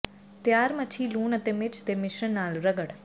ਤਿਆਰ ਮੱਛੀ ਲੂਣ ਅਤੇ ਮਿਰਚ ਦੇ ਮਿਸ਼ਰਣ ਨਾਲ ਰਗੜ